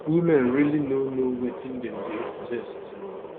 women really no know wetin dem dey ingest